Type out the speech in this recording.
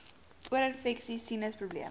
oorinfeksies sinus probleme